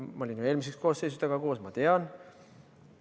Ma olin eelmises koosseisus temaga koos, ma tean.